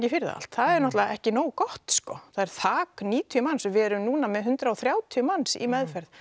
fyrir það allt það er nátturulega ekki nógu gott sko það er þak níutíu manns við erum núna með hundrað og þrjátíu manns í meðferð